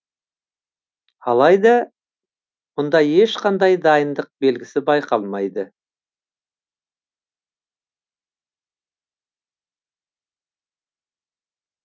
алайда мұнда ешқандай дайындық белгісі байқалмайды